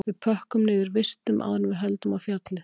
Við pökkum niður vistum áður en við höldum á fjallið